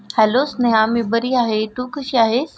Hello Sneha मी बरी आहेस तू कशी आहेस.